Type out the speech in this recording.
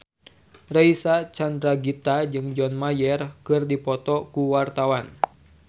Reysa Chandragitta jeung John Mayer keur dipoto ku wartawan